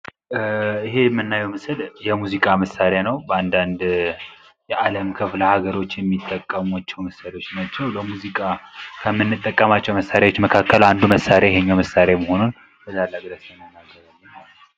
ይሄ የምናየው ምስል የሙዚቃ መሳሪያ ነው። በአንዳንድ የአለም ክፍለ ሀገሮች የሚጠቀሙት መሳሪያዎች ናቸው። የሙዚቃ ከምንጠቀምባቸው መሳሪያዎች መካከል አንዱ መሳሪያ ይህኛው መሳሪያ መሆኑን እንናገራለን።